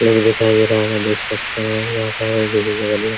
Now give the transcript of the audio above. लोग दिखाई दे रहा है वहाँ देख सकते है यहाँ पर --